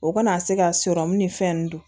O kana se ka sɔrɔmu ni fɛn nunnu dun